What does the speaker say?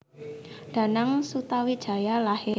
Danang Sutawijaya lahir